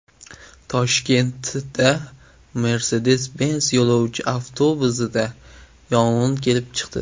Toshkentda Mercedes-Benz yo‘lovchi avtobusida yong‘in kelib chiqdi.